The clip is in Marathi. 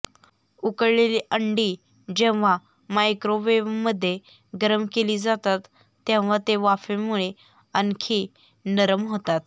उकळलेली अंडी जेव्हा मायक्रोवेव मध्ये गरम केली जातात तेव्हा ते वाफेमुळे आणखी नरम होतात